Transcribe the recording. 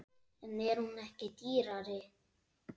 En er hún ekki dýrari?